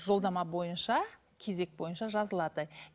жолдама бойынша кезек бойынша жазылады